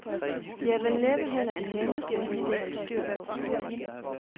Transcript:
De er vel næppe heller de nemmeste elever at holde styr på.